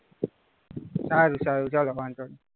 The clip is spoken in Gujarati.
સારું સારું ચાલો વાંધો નહીં.